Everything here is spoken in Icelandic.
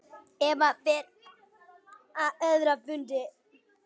Eva fer á aðra fundi.